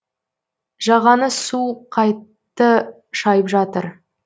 жағаны су қатты шайып жатыр